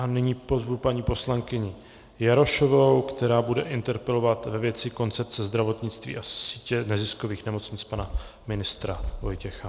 A nyní pozvu paní poslankyni Jarošovou, která bude interpelovat ve věci koncepce zdravotnictví a sítě neziskových nemocnic pana ministra Vojtěcha.